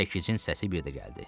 Çəkicin səsi bir də gəldi.